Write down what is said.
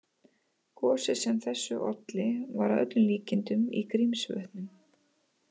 Gosið sem þessu olli var að öllum líkindum í Grímsvötnum.